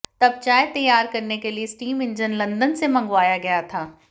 तब चाय तैयार करने के लिए स्टीम इंजन लंदन से मंगवाया गया था